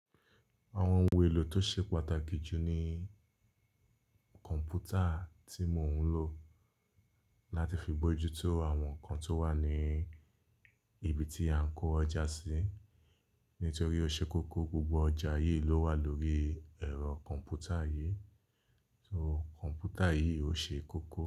Àwọn oun èlò tó ṣe pàtàkì jù ní kọ̀ǹpútà tí mò ń lò láti fi gbojútó àwọn nǹkan tó wà ní ibi tí à ń kó ọjà sí. Nítorí ó ṣe kókó, gbogbo ọjà yìí ló wà lórí ẹ̀rọ kọ̀ǹpútà yìí. So kọ̀ǹpútà yìí ó ṣe kókó.